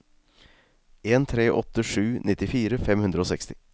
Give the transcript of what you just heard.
en tre åtte sju nittifire fem hundre og seksti